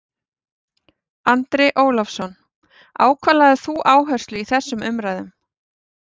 Andri Ólafsson: Á hvað lagðir þú áherslu í þessum umræðum?